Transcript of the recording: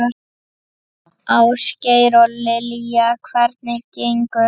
Ásgeir: Og Lilja, hvernig gengur?